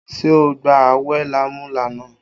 Ṣé o ń gba awẹ lámúlánà?